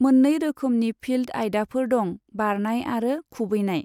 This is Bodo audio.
मोननै रोखोमनि फिल्ड आयदाफोर दं बारनाय आरो खुबैनाय।